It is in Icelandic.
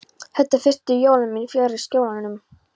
Þetta eru fyrstu jólin mín fjarri Skjólunum.